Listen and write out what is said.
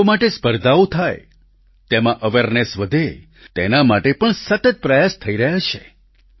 બાળકો માટેની સ્પર્ધાઓ થાય તેમાં અવેરનેસ વધે તેના માટે પણ સતત પ્રયાસ થઈ રહ્યા છે